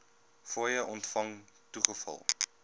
fooie ontvang toegeval